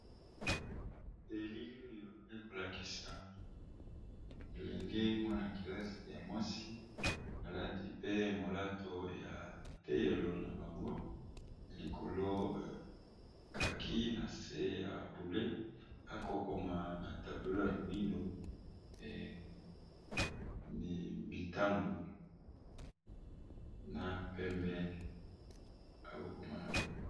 Elili oyo eko lakisa elenge mwana kelasi ya mwasi alati pe molato ya etelelo na banga, pe likolo kaki nase ya bleu akokoma na tablo ya moindo mitango na pembe akokoma nango.